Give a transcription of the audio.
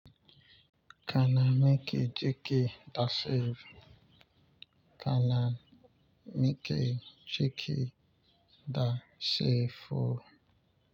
Kanamike jiki dashi kana mike jiki da shi ko.